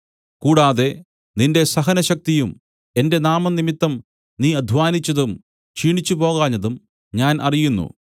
കൂടാതെ നിന്റെ സഹനശക്തിയും എന്റെ നാമംനിമിത്തം നീ അദ്ധ്വാനിച്ചതും ക്ഷീണിച്ചുപോകാഞ്ഞതും ഞാൻ അറിയുന്നു